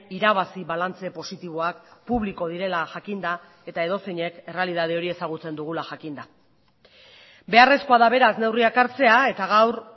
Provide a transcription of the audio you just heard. irabazi balantze positiboak publiko direla jakinda eta edozeinek errealitate hori ezagutzen dugula jakinda beharrezkoa da beraz neurriak hartzea eta gaur